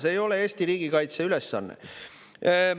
See ei ole Eesti riigikaitse ülesanne.